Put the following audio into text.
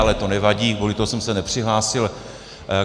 Ale to nevadí, kvůli tomu jsem se nepřihlásil.